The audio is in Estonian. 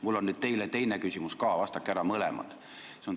Mul on nüüd teile teine küsimus ka, vastake ära mõlemad!